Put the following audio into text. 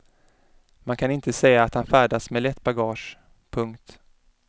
Man kan inte säga att han färdas med lätt bagage. punkt